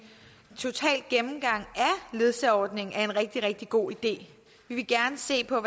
total gennemgang af ledsageordningen er en rigtig rigtig god idé vi vil gerne se på